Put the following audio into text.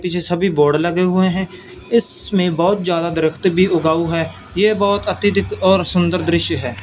पीछे सभी बोर्ड लगे हुएं हैं इसमें बहुत ज्यादा दरख़्त भी उगाउ हैं ये बहोत अत्यधिक और सुंदर दृश्य है।